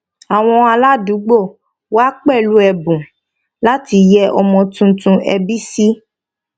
àwọn aládùúgbò wa pẹlú ẹbùn láti yẹ ọmọ tuntun ẹbí sí